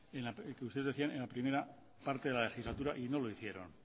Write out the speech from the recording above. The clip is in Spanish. que usted decía en la primera parte de la legislatura y no lo hicieron